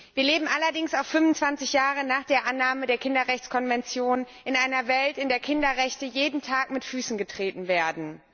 Wir leben allerdings auch 25 Jahre nach der Annahme der Kinderrechtskonvention in einer Welt, in der Kinderrechte jeden Tag mit Füßen getreten werden.